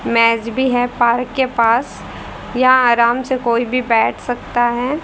मेज भी है पार्क के पास यहां आराम से कोई भी बैठ सकता है।